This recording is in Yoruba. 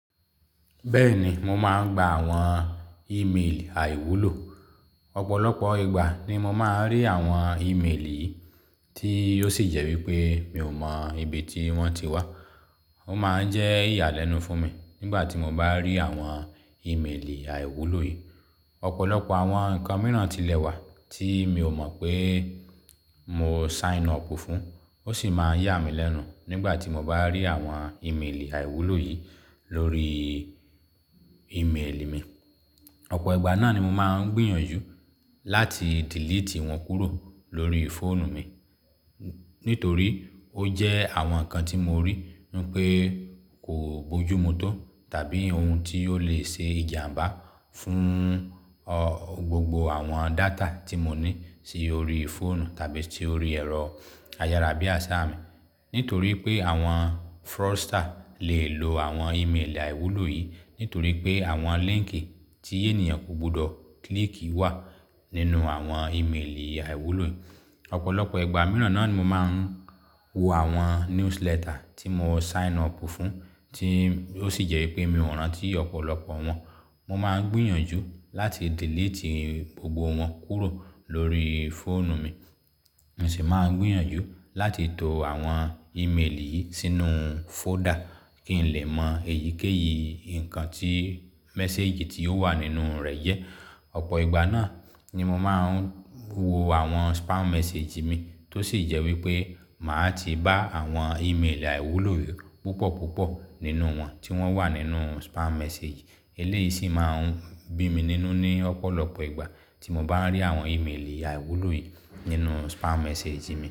Bẹ́ẹ̀ ni, mo máa ń gba àwọn ìméèlì àìwúlò. Ọ̀pọ̀lọpọ̀ ìgbà ni mo máa ń rí àwọn ìméèlì yìí, tí ó sì jẹ́ wípé mi ò mọ ibi tí wọ́n ti wá. Ó máa ń jẹ́ ìyàlẹ́nu fún mi nígbà tí mo bá rí àwọn ìméèlì àìwúlò yìí. Ọ̀pọ̀lọpọ̀ àwọn nǹkan mìíràn ti lẹ̀ wà tí mi ò mọ pé mo sign up fún, ó sì máa ń yà mí lẹ́nu nígbà tí mo bá rí àwọn ìméèlì àìwúlò yìí lórí ìméèlì mi. Ọ̀pọ̀ ìgbà náà ni mo máa ń gbìyànjú láti delete wọn kúrò lórí fóònù mi nítorí ó jẹ́ àwọn nǹkan tí mo rí wípé kò bójú mu tó tàbí ohun tí yóò le ṣe ìjàmbá fún, ọ́, gbogbo àwọn data tí mo ní sí orí fóònù tàbí sí orí ẹ̀rọ ayára bíàṣá mi. Nítorí pé àwọn fraudster lè lo àwọn ìméèlì àìwúlò yìí, nítorí pé àwọn líńkì tí ènìyàn kò gbọdọ̀ klíìkì wà nínú àwọn ìméèlì àìwúlò yìí. Ọ̀pọ̀lọpọ̀ ìgbà mìíràn náà ni mo máa ń wo àwọn newsletter tí mo sign up fún tí ó sì jẹ́ wípé mi ò rántí ọ̀pọ̀lọpọ̀ wọn. Mo máa ń gbìyànjú láti delete gbogbo wọn kúrò lórí fóònù mi. Mo sì máa ń gbìyànjú láti to àwọn ìméèlì yìí sínú fóòdà kí n lè mọ èyíkéyìí nǹkan tí, mẹ́sééjì tí ó wà nínú rẹ̀ jẹ́. Ọ̀pọ̀ ìgbà náà ni mo máa ń wo àwọn spam message mi tó sì jẹ́ wípé màá ti bá àwọn ìméèlì àìwúlò yìí púpọ̀ púpọ̀ nínú wọn tí wọ́n wà nínú spam message. Ilé yìí sì máa ń bí mi nínú ní ọ̀pọ̀lọpọ̀ ìgbà tí mo bá ń rí àwọn ìméèlì àìwúlò yìí nínú spam message mi.